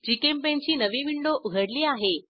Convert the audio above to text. GChemPaint ची नवी window उघडली आहे